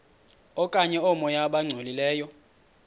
okanye oomoya abangcolileyo